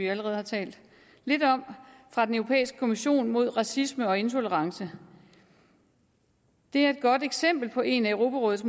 allerede har talt lidt om fra den europæiske kommission mod racisme og intolerance det er et godt eksempel på en af europarådets